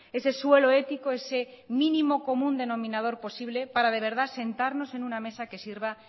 ese suelo ético ese mínimo común denominador posible para de verdad sentarnos en una mesa que sirva